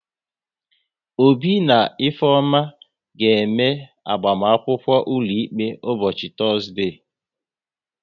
Obi na Ifeoma ga-eme agbamakwụkwọ ụlọikpe ụbọchị Tọzdee